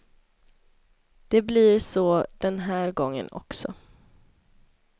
Det blir så den här gången också.